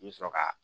I bi sɔrɔ ka